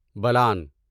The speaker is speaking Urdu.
بلان